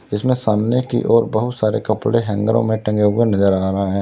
इसमें सामने की और बहुत सारे कपड़े हैंगरों में टंगे हुए नजर आ रहा है।